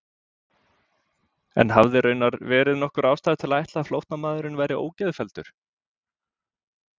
En hafði raunar verið nokkur ástæða til að ætla að flóttamaðurinn væri ógeðfelldur?